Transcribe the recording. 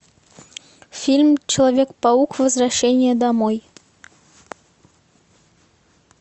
фильм человек паук возвращение домой